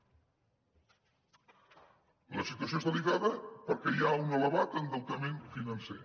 la situació és delicada perquè hi ha un elevat endeutament financer